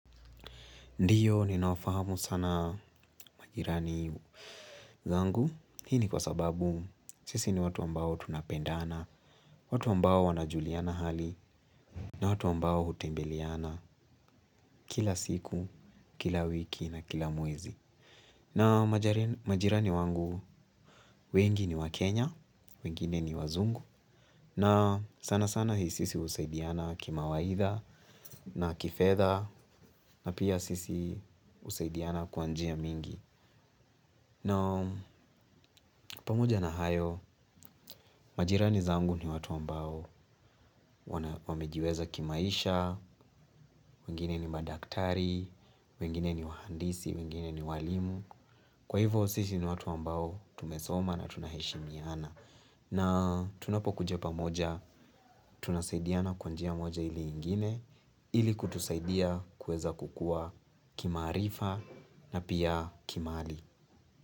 Ndiyo, ninawafahamu sana majirani zangu. Hii ni kwa sababu, sisi ni watu ambao tunapendana, watu ambao wanajuliana hali, na watu ambao hutembeliana kila siku, kila wiki, na kila mwezi. Na majirani wangu, wengi ni Wakenya, wengine ni wazungu, na sana sana sisi usaidiana kimawaidha, na kifedha, na pia sisi usaidiana kwa njia mingi. Na pamoja na hayo, majirani zangu ni watu ambao wamejiweza kimaisha, wengine ni madaktari, wengine ni wahandisi, wengine ni walimu. Kwa hivo, sisi ni watu ambao tumesoma na tunaheshimiana. Na tunapokuja pamoja, tunasaidiana kwa njia moja ile ingine, ili kutusaidia kuweza kukua kimaarifa na pia kimali.